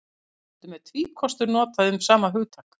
Stundum er tvíkostur notað um sama hugtak.